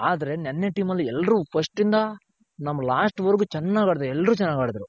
ಆದ್ರೆ ನೆನ್ನೆ team ಅಲ್ಲಿ ಎಲ್ರು first ಇಂದ ನಮ್ last ವರ್ಗು ಚೆನಾಗ್ ಆಡಿದ್ರು ಎಲ್ರು ಚೆನಾಗ್ ಆಡಿದ್ರು.